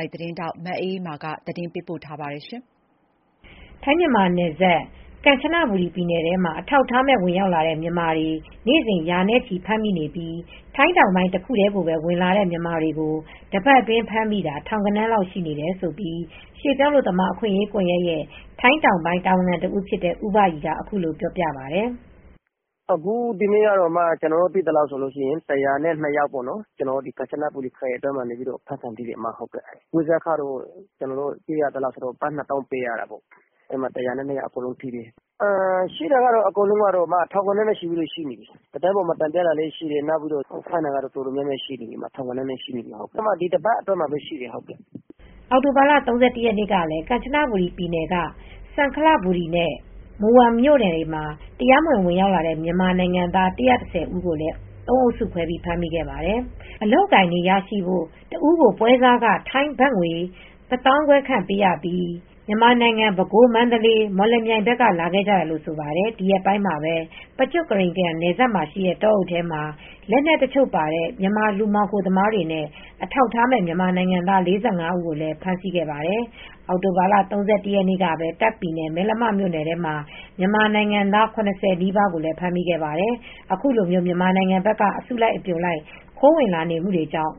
ိုအေသတင်းထောက်မအေးအေးမာကပြောပြပေးပါမယ်။ ထိုင်းမြန်မာနယ်စပ်ကန်ချနဘူရီပြည်နယ်ထဲမှာအထောက်အထားမဲ့ ဝင်ရောက်လာတဲ့မြန်မာတွေ နေစဉ်ရာနဲ့ချီရှိနေပြီး ထိုင်းတောင်ပိုင်းတခုတည်းကိုပဲ ဝင်လာကြတဲ့မြန်မာတွေကို တပတ်အတွင်းမှာဖမ်းမိတာ ထောင်ဂဏန်းလောက်ရှိနေတယ်လို့ ရွှေပြောင်းအလုပ်သမားအခွင့်ရေးကွန်ယက်ရဲ့ထိုင်းတောင်ပိုင်းတာဝန်ခံတဦးဖြစ်တဲ့ဦးဘရီကအခုလိုပြောပြပါတယ်။ "ဒီနေ့ကတော့ကျနော်တို့သိသလောက်ဆိုရင် ၁၀၂ ယောက်ပေါ့နော် ကမ်ချနဘူရီခရိုင်ထဲမှာဖမ်းခံထိတယ် ပွဲစားခက တဦးကိုဘတ်၂သောင်းလောက်ပေးရတာပေါ့နော် ၁၀၂ယောက်အကုန်ဖမ်းခံထိတယ်ရှိတာက ထောင်ဂဏန်းလောက်ရှိတယ် သတင်းမှာမတင်ကြတာမသိတာပဲရှိတယ်ဒီတပတ်အတွင်းမှာကိုထောင်ဂဏန်းလာက်ရှိတယ်။" အောက်တိုဘာလ ၃၁ရက်နေ့ကလည်းကန်ချနဘူရီပြည်နယ်က စန်ခလဘူရီနဲ့ မူဝ်မ် မြို့နယ်တွေမှာ တရားမဝင် ဝင်ရောက်လာတဲ့ မြန်မာ ၁၁၀ ဦးကို သုံးအုပ်စုခွဲပြီးဖမ်းမိခဲ့ပါတယ်၊ အလုပ်အကိုင်တွေရရှိဖို့ တဦးကိုပွဲစားခ ထိုင်းဘတ်ငွေ၁၅၀၀၀ခန့်ပေးပြီးမြန်မာနိုင်ငံ ပဲခူး မန္တလေး မော်လမြိုင်ကနေလာခဲ့ကြတာလို့ဆိုပါတယ် ဒီရက်ထဲမှာပဲ Prachuap Khiri Khan နယ်စပ်မှာရှိတဲ့ တောအုပ်ထဲမှာ လက်နက်တချိုပါတဲ့ မြန်မာလူမှောင်ခိုသမားတွေနဲ့ အထောက်အထားမဲ့ မြန်မာနိုင်ငံသား ၄၅ဦးဖမ်းဆီးခဲ့ပါတယ် ။ အောက်တိုဘာလ၃၁ရက်နေ့ကပဲတာ့ခ်ပြည်နယ်မယ်လမမြိုနယ်အတွင်းမှာမြန်မာနိုင်ငံသား၇၀နီးပါးကိုလည်းဖမ်းမိခဲ့ပါတယ်။ အခုလိုမျိုး မြန်မာနိုင်ငံဘက်ကအစုလိုက်အပြုံလိုက် ခိုးဝင်လာနေမူတွေကြောင့်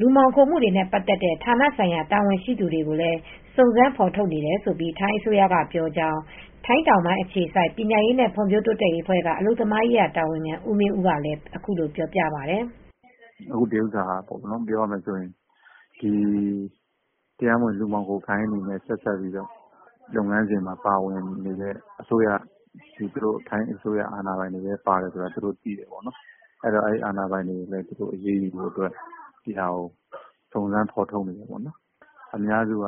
လူမှောင်ခိုမူတွေနဲ့ပတ်သက်တဲ့ ဌာနဆိုင်ရာတာဝန်ရှိသူတွေကိုလည်းစုံစမ်းဖော်ထုတ်နေတယ်လို့ထိုင်းအစိုးရကပြောကြောင်းထိုင်းတောင်ပိုင်းအခြေစိုက်ပညာရေးနဲ့ဖွံ့ဖြိုးတိုးတက်ရေးအဖွဲ့ကအလုပ်သမားရေးရာတာဝန်ခံဦးမင်းဦးကလည်းအခုလိုပြောပါတယ်။ "အခုဟာက တရားမဝင်လူမှောင်ခိုဂိုဏ်းတွေနဲ့ဆက်စပ်ပြီးလုပ်ငန်းစဉ်မှာပါဝင်နေတဲ့ထိုင်းအစိုးရ အာဏာပိုင်တွေလည်းပါတယ်ဆိုတာသူတို့သိတယ်ပေါ့နော်အဲဒီ တော့အာဏာပိုင်တွေကိုလည်းအရေးယူဖို့အတွက်စုံစမ်းဖော်ထုတ်နေတယ်ပေါ့နော် အများစုက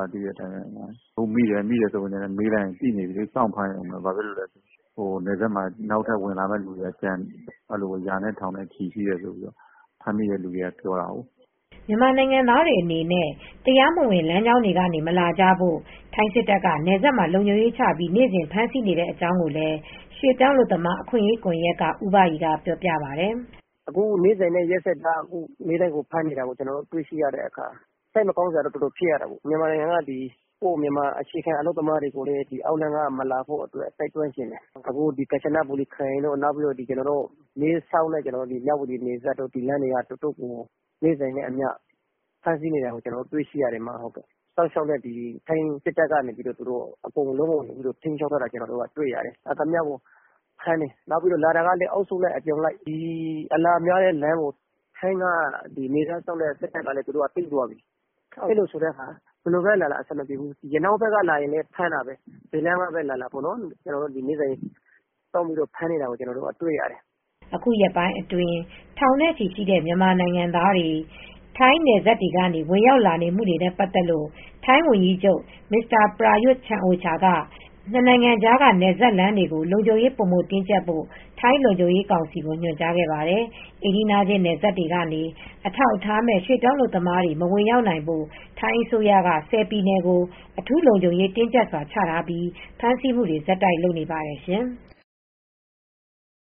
မိရင်မေးလိုက်ရင်သိနေပြီ စောင့်ဖမ်းရုံပဲ မေးလိုက်ရင် နယ်စပ်မှာ နောက်ထပ်ဝင်လာမယ့်သူတွေက ရာနဲ့ထောင်နဲ့ချီရှိနေတယ်ဆိုတာကို ဖမ်းမိတဲ့သူတွေက ပြောတာကိုး။" မြန်မာနိုင်ငံသားတွေအနေနဲ့ တရားမဝင်လမ်းတွေကနေမလာကြဖို့ ထိုင်းစစ်တပ်ကနယ်စပ်မှာလုံခြုံရေးချပြီးနေစဉ်ဖမ်းဆီးနေတဲ့အကြောင်းကိုလည်း ရွှေပြောင်းအလုပ်သမားအခွင့်အရေးကွန်ယက်က ဦးဘရီကပြောပြပါတယ်။ "အခု နေ့စဉ်နဲ့ရက်ဆက်ကြား အမြဲတမ်းကျနော်တို့ တွေရတဲ့အခါစိတ်မကောင်းဖြစ်ရတယ်မြန်မာနိုင်ငံကအခြေခံအလုပ်သမားတွေကိုလည်းအောက်လမ်းကနေမလာဖို့တိုက်တွန်းချင်တယ် အခု ကန်ချနဘူရီခရိုင်တို့မဲဆောက်တို့ မြဝတီနယ်စပ်တွေမှာအတာ်ကိုနေစဉ်နဲ့အမျှဖမ်းနေတာတွေ့ရတယ်။ထိုင်းစစ်တပ်ကလည်းအကုန်လုံးကိုထိမ်းချုပ်ထားတာတွေ့ရတယ် လာသမျှကလည်းအစုလိုက်အပြုံလိုက်လာကြတယ်။ အလာများတဲ့လမ်းကိုထိုင်းနယ်ခြားစောင့်တဲ့စစ်တပ်ကသူတို့ကသိသွားပြီ ဘယ်လမ်းကပဲလာလာအဆင်မပြေဘူး။ ရနောင်းဘက်ကလာလည်း ဖမ်းတာပဲ ။နေတိုင်းဖမ်းနေတာကို ကျနော်တို့ကတွေ့ရတယ်။" အခုရက်ပိုင်းအတွင်း ထောင်နဲ့ ချီရှိတဲ့ မြန်မာ နိုင်ငံသားတွေ ထိုင်းနယ်စပ်တွေထဲဝင်ရောက်လာမှုနဲ့ ပတ်သက်ပြီး ထိုင်းဝန်ကြီး ချုပ်Mr. Prayut Chan-o-cha ကနှစ်နိုင်ငံကြားက နယ်စပ်လမ်းတွေကို လုံခြုံရေးပိုမိုတင်းကြပ်ဖို့ ထိုင်းလုံခြုံရေးကောင်စီကို ညွှန်ကြားခဲ့ပါတယ်။ အိမ်နီးချင်းနယ်စပ်တွေကနေ အထောက်အထားမဲ့ရွှေပြောင်းအလုပ်သမားတွေ မဝင်ရောက်နိုင်ဖို့ ထိုင်းအစိုးရက ၁၀ပြည်နယ်ကို အထူးလုံခြုံရေးတင်းကြပ်စွာချထားပြီ ဖမ်းဆီးမူတွေဆက်တိုက်လုပ်နေပါတယ်ရှင်။